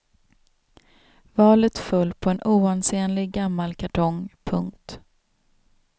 Valet föll på en oansenlig gammal kartong. punkt